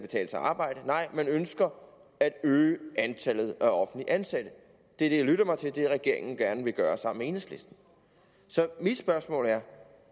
arbejde nej man ønsker at øge antallet af offentligt ansatte det er det jeg lytter mig til at regeringen gerne vil gøre sammen med enhedslisten så mit spørgsmål er